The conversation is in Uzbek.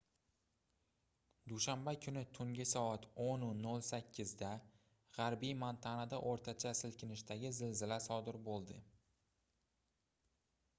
dushanba kuni tungi soat 10:08 da gʻarbiy montanada oʻrtacha silkinishdagi zilzila sodir boʻldi